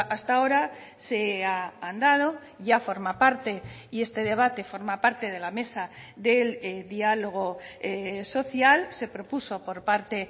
hasta ahora se ha andado ya forma parte y este debate forma parte de la mesa del diálogo social se propuso por parte